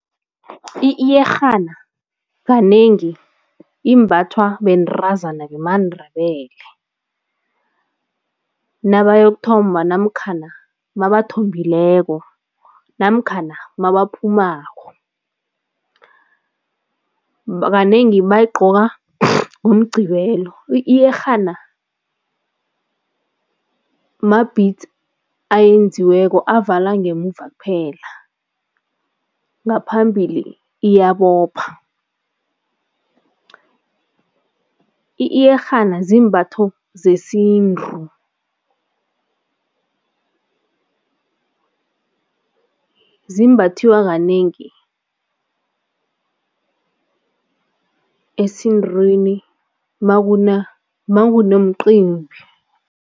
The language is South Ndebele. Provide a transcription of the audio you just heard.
Iyerhana kanengi imbathwa bentazana bemaNdebele nabayokuthomba namkhana mabathombileko namkhana mabaphumako, kanengi bayigqoka ngoMgqibelo. Iyerhana ma-beads ayenziweko avala ngemuva kuphela, ngaphambili iyabopho. Iyerhana zimbatho zesintu, zimbathwa kanengi esintwini makunomcimbi.